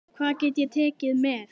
Hvað get ég tekið með?